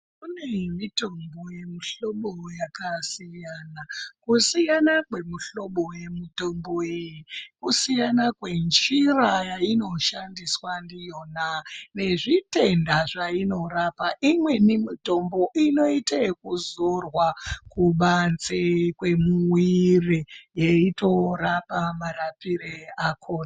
Kune mitombo yemihlobo yakasiyana, kusiyana kwemuhlobo yemutombo iyi kusiyana kwenjira yainoshandiswa ndiyona, nezvitenda zvainorapa. Imweni mitombo inoite yekuzorwa kubanze kwemuwiri yeitorapa marapire ako...